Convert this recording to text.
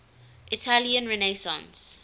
italian renaissance